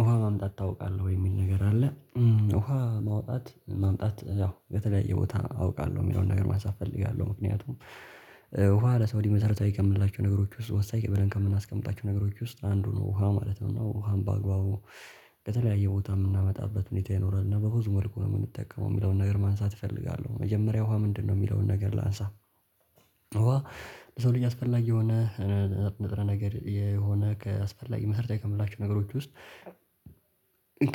ውሃ ማምጣት ታውቃለህ ወይ? የሚል ነገር አለ ውሃ ማውጣት ማምጣት ያው በተለያየ ቦታ አውቃለሁ የሚለውን ነገር ማንሳት እፈልጋለሁ ምክንያቱም። ውሃ ለሰው ልጅ መሰረታዊ ከምንላቸው ነገሮች ውስጥ ወሳኝ ብለን ከምናስቀምጣቸው ነገሮች ውስጥ አንዱ ነው ውሃ ማለት ነው። እና ውሃም በአግባቡ ከተለያየ ቦታ የምናመጣበት ምክንያት ይኖራል እና በብዙ መልኩ ነው የምንጠቀመው የሚለውን ነገር ማንሳት እፈልጋለሁ። መጀመሪያ ውሃ ምንድነው የሚለውን ነገር ላንሳ። ውሃ ለሰው ልጅ አስፈላጊ የሆነ ንጥረ ነገር የሆነ ከአስፈላጊ መሰረታዊ ከምንላቸው ነገሮች ውስጥ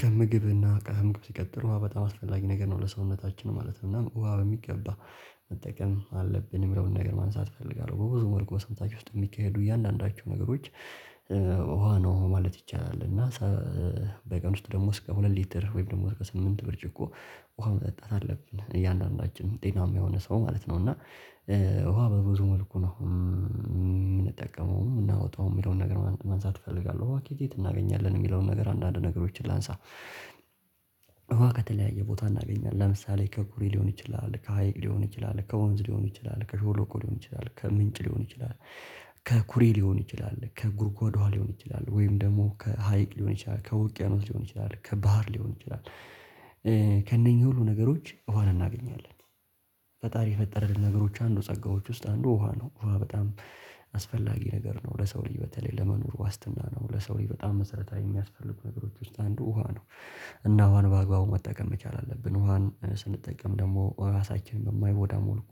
ከምግብ ከምግብ ሲቀጥር በጣም አስፈላጊ ነገር ነው ለሰውነታችን ማለት ነው። እና በሚገባ መጠቀም አለብኝን የምለውን ነገር ማንሳት እፈልጋለሁ። በብዙ ወርቅ በሰንታችሁ ውስጥ የሚካሄዱ እያንዳንዳችሁ ነገሮች ውሃ ነው ማለት ይቻላል እና። በቀን ውስጥ ደግሞ እስከ ሁለት ሊትር ወይም ደግሞ እስከ ብርጭቆ ውሃ መጠጣት አለብን እያንዳንዳችን ጤናማ የሆነ ሰው ማለት ነው። እና ውሃ በብዙ መልኩ ነው የምንጠቀመው የምናወጣው የሚለውን ነገር ማንሳት እፈልጋለሁ አዋቂ ትናገኛለን የሚለውን ነገር አንዳንድ ነገሮችን ላንሳ። ውሃ ከተለያየ ቦታ እናገኛለን ለምሳሌ ከኩሬ ሊሆን ይችላል ከሀይቅ ሊሆን ይችላል ከወንዝ ሊሆን ይችላል ከሸለቆ ሊሆን ይችላል ከምንጭ ሊሆን ይችላል ከኩሬ ሊሆን ይችላል ከጉርጓዷ ሊሆን ይችላል ወይም ደግሞ ከሀይቅ ሊሆን ይችላል ከውቅያኖስ ሊሆን ይችላል ከባህር ሊሆን ይችላል ከእነኚህ ሁሉ ነገሮች ውሃን እናገኛለን። ፈጣሪ የፈጠረልን ነገሮች አንዱ ጸጋዎች ውስጥ አንዱ ውሃ ነው ውሃ በጣም አስፈላጊ ነገር ነው ለሰው ልጅ በተለይ ለመኖር ዋስትና ነው ለሰው ላይ በጣም መሰረታዊ የሚያስፈልጉ ነገሮች ውስጥ አንዱ ውሃ ነው። እና ውሃን በአግባቡ መጠቀም መቻል አለብን ውሃን ስንጠቀም ደግሞ ሰውነታችንን በማይጎዳ መልኩ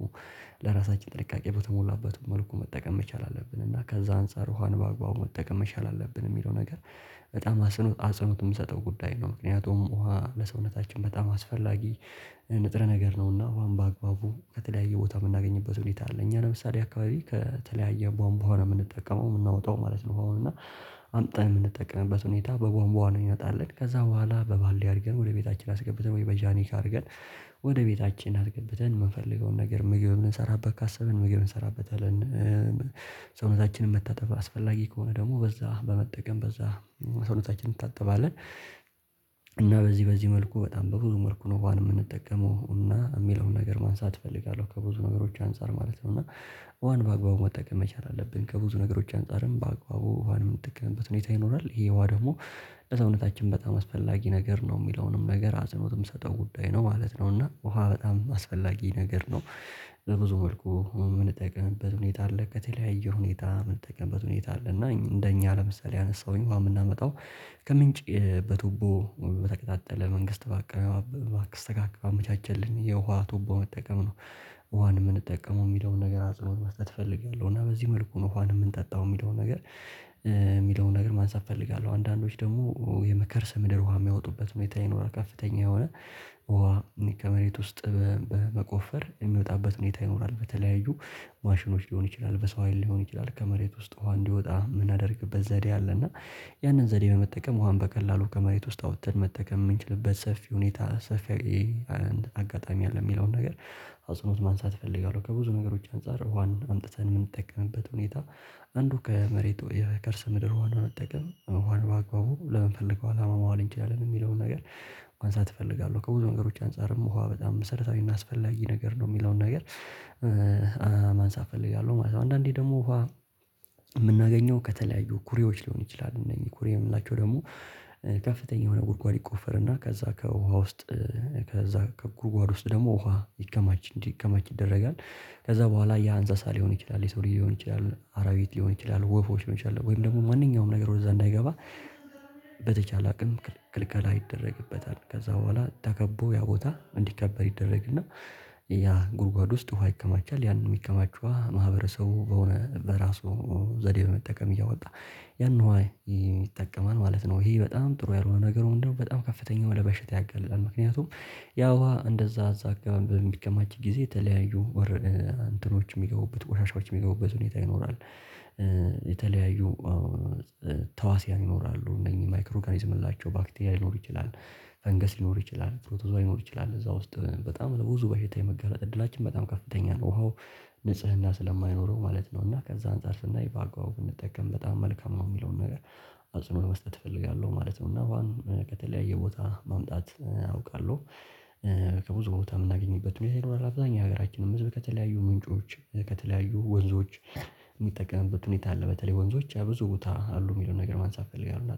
ለራሳችን ጥንቃቄ በተሞላበት መልኩ መጠቀም መቻል አለብን እና ከዛ አንፃር ውሃን በአግባቡ መጠቀም መቻል አለብን የሚለው ነገር በጣም አጽንኦት የምሰጠው ጉዳይ ነው። ምክንያቱም ውሃ ለሰውነታችን በጣም አስፈላጊ ከምግብ እና ከምግብ ሲቀጥል በጣም አስፈላጊ ነገር ነው ለሰውነታችን ማለት ነው እና በሚገባ መጠቀም አለብኝ የምለውን ነገር ማንሳት እፈልጋለሁ። በብዙ ወርቅ በሰንታችሁ ውስጥ የሚካሄዱ እያንዳንዳችሁ ነገሮች ውሃ ነው ማለት ይቻላል እና በቀን ውስጥ ደግሞ እስከ ሁለት ሊትር ወይም ደግሞ እስከ ብርጭቆ ውሃ መጠጣት አለብን እያንዳንዳችን ጤናማ የሆነ ሰው ማለት ነው። እና ውሃ በብዙ መልኩ ነው የምንጠቀመው የምናወጣው የሚለውን ነገር ማንሳት እፈልጋለሁ አዋቂ ትናገኛለን የሚለውን ነገር። አንዳንድ ነገሮችን ላንሳ እውቀት የለያየ ቦታ እናገኛለን ለምሳሌ ከኩሬ ሊሆን ይችላል ከሀይቅ ሊሆን ይችላል ከወንዝ ሊሆን ይችላል ከሾሎኮ ሊሆን ይችላል ከምንጭ ሊሆን ይችላል። ከኩሬ ሊሆን ይችላል ከጉርጓዷ ሊሆን ይችላል ወይም ደግሞ ከሀይቅ ሊሆን ይችላል ከውቅያኖስ ሊሆን ይችላል ከባህር ሊሆን ይችላል። በዚህ በዚህ መልኩ በጣም በብዙ መልኩ ነው ውሃን የምንጠቀመው እና የሚለውን ነገር ማንሳት እፈልጋለሁ ከብዙ ነገሮች አንፃር ማለት ነው። እና ውሃን በአግባቡ መጠቀም መቻል አለብን ከብዙ ነገሮች አንፃርም በአግባቡ ውሃንም ጥቅም በትንሽ ሁኔታ ይኖራል ይሄ ዋ ደግሞ ለሰውነታችን በጣም አስፈላጊ ነገር ነው የሚለውንም ነገር አጥኖትም ሰጠው ጉዳይ ነው ማለት ነው እና ውሃ በጣም አስፈላጊ ነገር ነው። ብዙ መልኩ የምንጠቅምበት ሁኔታ አለ ከተለያየ ሁኔታ ምን ተቀንበስ ሁኔታ አለ እና እንደኛ ለምሳሌ አነሳሁኝ እንደው የምናመጣው ከምንጭ በቱቦ በተቀጣጠለ መንግስት በአክስ ተጋግባ ባመቻቸልን የውሃ ቱቦ መጠቀም ነው። ውሃን የምንጠቀመው የሚለውን ነገር አጽንኦት መስጠት እፈልጋለሁ እና በዚህ መልኩ ነው ውሃን የምንጠጣው የሚለውን ነገር የሚለውን ነገር ማንሳት እፈልጋለሁ። አንዳንዶች ደግሞ የከርሰ ምድር ውሃ የሚያወጡበት ሁኔታ ይኖራል ከፍተኛ የሆነ ውሃ ከመሬት ውስጥ በመቆፈር የሚወጣበት ሁኔታ ይኖራል በተለያዩ ማሽኖች ሊሆን ይችላል በሰው ሀይል ሊሆን ይችላል ከመሬት ውስጥ እንዲወጣ የምናደርግበት ዘዴ አለ። እና ያንን ዘዴ በመጠቀም ውሃም በቀላሉ ከመሬት ውስጥ አውጥተን መጠቀም የምንችልበት ሰፊ ሁኔታ ሰፊ አጋጣሚ አለ የሚለውን ነገር አጽኖት ማንሳት እፈልጋለሁ። ከብዙ ነገሮች አንፃር ውሃን አምጥተን የምንጠቀምበት ሁኔታ አንዱ ከመሬቱ ከርስ ምድር ውሃን በመጠቀም ውሃን በአግባቡ ለምንፈልገው አላማ ማዋል እንችላለን የሚለውን ነገር ማንሳት እፈልጋለሁ። ከብዙ ነገሮች አንፃርም ውሃ በጣም መሰረታዊ እና አስፈላጊ ነገር ነው የሚለውን ነገር ማንሳት እፈልጋለሁ ማለት ነው። አንዳንዴ ደግሞ ውሃ የምናገኘው ከተለያዩ ኩሬዎች ሊሆን ይችላል እነዚህ ኩሬ የምላቸው ደግሞ ከፍተኛ የሆነ ጉድጓድ ይቆፈርና ከዛ ከውሃ ውስጥ ከዛ ከጉርጓድ ውስጥ ደግሞ ውሃ እንዲከማች እንዲያከማች ይደረጋል። ከዛ በኋላ ያ አንዛዛ ሊሆን ይችላል የሰው ሊሆን ይችላል አራዊት ሊሆን ይችላል ወፎች መቻል ወይም ደግሞ ማንኛውም ነገር ወደዛ እንዳይገባ በተቻለ አቅም ክልክል ይደረግበታል ከዛ በኋላ ተከቦ ያ ቦታ እንዲከበር ይደረግና ያ ጉድጓድ ውስጥ ውሃ ይከማቻል ያንን የሚከማቸው ማህበረሰቡ በሆነ በራሱ ዘዴ በመጠቀም እያወጣ ያን ዋይ ይጠቀማል ማለት ነው። ይሄ በጣም ጥሩ ያልሆነ ነገር እንደው በጣም ከፍተኛ ወደ በሽታ ያገላል ምክንያቱም ያ ውሃ እንደዛ እዛ በሚከማች ጊዜ የተለያዩ ወር እንትኖች የሚገቡበት ወቆሻሻዎች የሚገቡበት ሁኔታ ይኖራል። የተለያዩ ተዋስያን ይኖራሉ እነኚህ ማይክሮ ኦርጋኒዝም የምንላቸው ባክቲሪያ ሊኖር ይችላል ፈንገስ ሊኖር ይችላል ፕሮቶዛል ሊኖር ይችላል እዛ ውስጥ በጣም ብዙ በሽታ የመጋለጥ እድላችን በጣም ከፍተኛ ነው። ውሃው ንጽህና ስለማይኖረው ማለት ነው እና ከዛ አንፃር ስናይ የባጓው እንጠቀም በጣም መልካም ነው የሚለውን ነገር አፄኖት መስጠት እፈልጋለሁ ማለት ነው። እና በተለያየ ቦታ ማምጣት አውቃለሁ። ከብዙ ቦታ የምናገኝበት ሁኔታ ይኖራል አብዛኛው ሀገራችንን ህዝብ ከተለያዩ ምንጮች ከተለያዩ ወንዞች የሚጠቀምበት ሁኔታ አለ በተለይ ወንዞች ያ ብዙ ቦታ አሉ የሚለውን ነገር ማንሳት ፈለጋለሁ